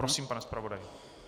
Prosím, pane zpravodaji.